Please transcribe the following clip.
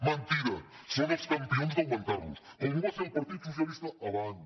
mentida són els campions d’augmentar los com ho va fer el partit socialista abans